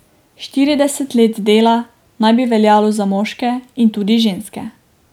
Štirideset let dela naj bi veljalo za moške in tudi ženske.